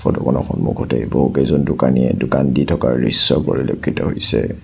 ফটোখনৰ সন্মুখতে বহুকেইজন দোকানিয়ে দোকান দি থকাৰ দৃশ্য পৰিলক্ষিত হৈছে।